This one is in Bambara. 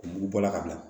Mugu bɔla ka bila